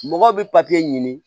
Mɔgɔw bɛ ɲini